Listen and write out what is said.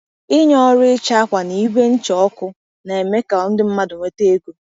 Ịnye ọrụ ịcha akwa na ígwè ncha ọkụ ka na-eme ka mmadụ nweta ego